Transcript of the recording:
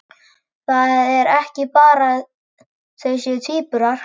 Það er ekki bara að þau séu tvíburar.